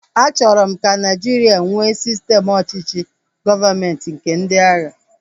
A chọrọ m ka Nigeria nwee sistem ọchịchị gọọmenti nke ndị agha